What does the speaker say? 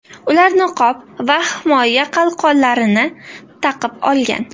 Ular niqob va himoya qalqonlarini taqib olgan.